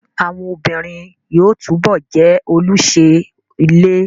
Àwọn obìnrin yóò túbọ̀ jẹ́ olùṣe ilé